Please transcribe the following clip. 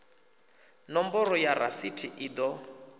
nomboro ya rasithi i ḓo